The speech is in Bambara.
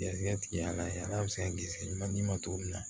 Garizigɛ la ala bɛ se ka garisɛgɛ ma d'i ma cogo min na